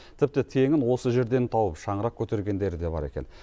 тіпті теңін осы жерден тауып шаңырақ көтергендері де бар екен